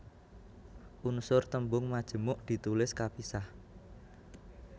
Unsur tembung majemuk ditulis kapisah